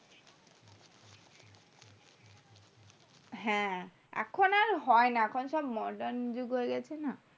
হ্যাঁ এখন আর হয়না এখন সব modern যুগ হয়েগেছে না